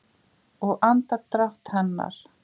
Og andardrátt hennar.